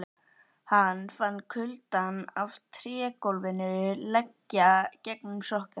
Hann fann kuldann af trégólfinu leggja gegnum sokkana.